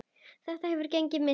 Þetta hefur gengið misvel.